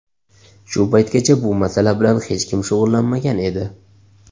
Shu paytgacha bu masala bilan hech kim shug‘ullanmagan edi.